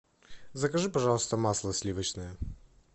закажи пожалуйста масло сливочное